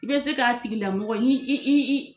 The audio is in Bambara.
I bɛ se k'a tigi lamɔgɔ ɲi i i i